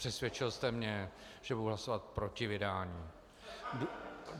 Přesvědčil jste mě, že budu hlasovat proti vydání.